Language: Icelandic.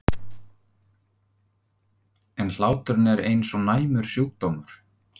En hláturinn er eins og næmur sjúkdómur.